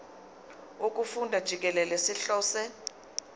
wokufunda jikelele sihlose